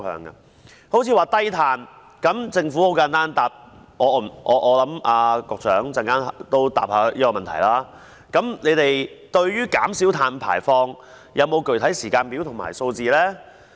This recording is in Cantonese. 例如，低碳方面，政府可以簡單回答或局長稍後可以回答，對於減少碳排放是否有具體時間表及數字？